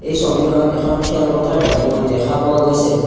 ছবিখনত এখন খেলপথাৰ দেখিব দেখা পোৱা গৈছে।